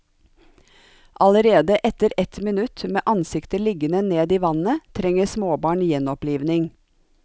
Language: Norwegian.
Allerede etter ett minutt med ansiktet liggende ned i vannet trenger småbarn gjenopplivning.